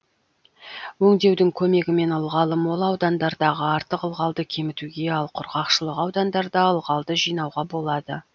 өңдеудің көмегімен ылғалы мол аудандардағы артық ылғалды кемітуге ал құрғақшылық аудандарда ылғалды жинауға болады